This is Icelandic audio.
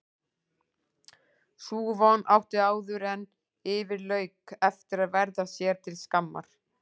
Sú von átti áðuren yfir lauk eftir að verða sér til skammar.